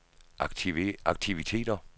aktiviteter